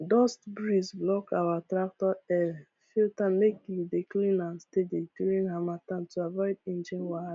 dust breeze block our tractor air filter make you dey clean am steady during harmattan to avoid engine